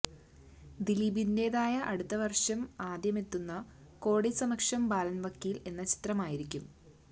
ദിലീപിന്റെതായി അടുത്ത വര്ഷം ആദ്യമെത്തുക കോടതി സമക്ഷം ബാലന് വക്കീല് എന്ന ചിത്രമായിരിക്കും